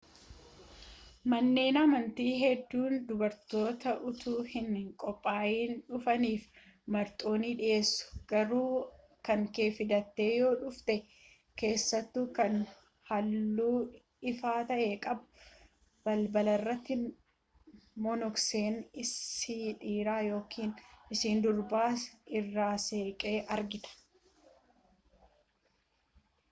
manneen amantii hedduun dubartoota utuu hin qophaayin dhufaniif marxoo ni dhiyeessu garuu kankee fidattee yoo dhufte keessattuu kan halluu ifaa ta'e qabu balbalarratti monoksee isa dhiiraa ykn ishee dubaraa irraa seeqa argatta